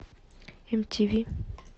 мтв